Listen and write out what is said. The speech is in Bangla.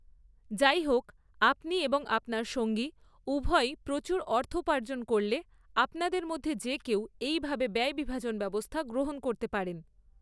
যাইহোক, আপনি এবং আপনার সঙ্গী উভয়েই প্রচুর অর্থোপার্জন করলে, আপনাদের মধ্যে যে কেউ এইভাবে ব্যয় বিভাজন ব্যবস্থা গ্রহণ করতে পারেন।